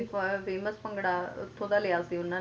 Khalsa college ਦਾ main famous bhangra ਉੱਥੋਂ ਦਾ ਲਿਆ ਸੀ ਉਹਨਾਂ ਨੇ